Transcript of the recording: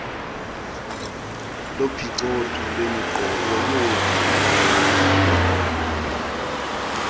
lophicotho lwemiqobo yoovimba